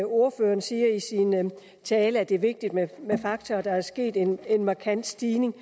ordføreren siger i sin tale at det er vigtigt med fakta og at der er sket en markant stigning